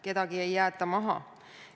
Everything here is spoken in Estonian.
Kedagi ei jäeta maha.